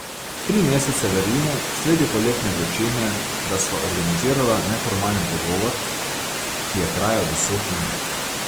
Tri mesece v Rimu, sredi poletne vročine, da sva organizirala neformalen pogovor, ki je trajal deset minut.